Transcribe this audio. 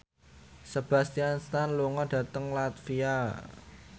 Sebastian Stan lunga dhateng latvia